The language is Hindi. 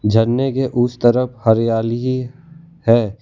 झरने के उस तरफ हरियाली ही है।